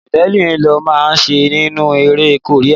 Javelin lọ máa ń ṣe nínú eré Korea.